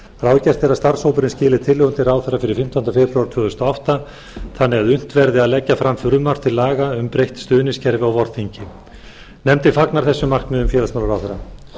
ráðgert er að starfshópurinn skili tillögum til ráðherra fyrir fimmtánda febrúar tvö þúsund og átta þannig að unnt verði að leggja fram frumvarp til laga um breytt stuðningskerfi á vorþingi nefndin fagnar þessum markmiðum félagsmálaráðherra